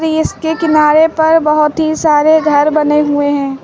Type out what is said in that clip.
इसके किनारे पर बहोत ही सारे घर बने हुए हैं।